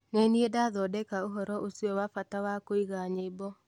Nĩ niĩ ndathondeka ũhoro ũcio wa bata wa kũiga nyĩmbo.